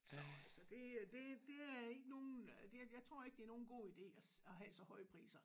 Så så det det det er ikke nogen det jeg tror ikke det er nogen god ide at have så høje priser